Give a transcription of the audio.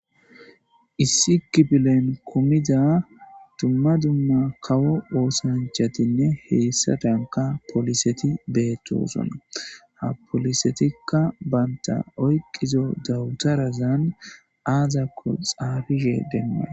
Issi kifflen kumidda kawo ossanchathinne hyssadankka polissethi bethossona. Ha polissethika bantha oyqidi dawtharazam azzakko xafishen demaysi